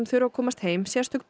þurfa að komast heim sérstök